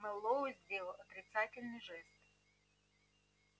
мэллоу сделал отрицательный жест